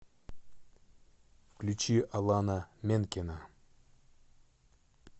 включи алана менкена